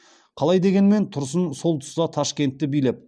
қалай дегенмен тұрсын сол тұста ташкентті билеп